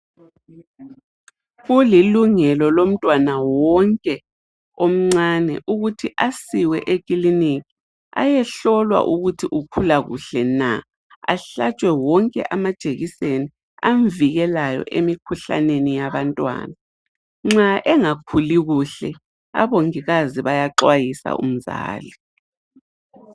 Kulilungelo lomtwana wonke omncane ukuthi asiwe eklinika ayehlolwa ukuthi ukhula kuhle na , ahlatshwe wonke amajekiseni amvikelayo emkhuhlaneni yabantwana nxa engakhuli kuhle abongikazi bayaxwayisa umzali